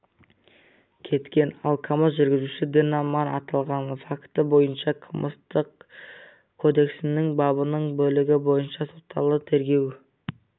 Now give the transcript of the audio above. кеткен ал камаз жүргізушісі дін-аман аталған факті бойынша қылмыстық кодексінің бабының бөлігі бойынша соталды тергеу